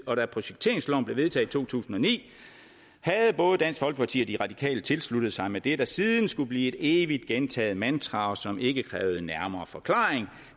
og da projekteringsloven blev vedtaget i to tusind og ni havde både dansk folkeparti og de radikale tilsluttet sig med det der siden skulle blive et evigt gentaget mantra og som ikke kræver en nærmere forklaring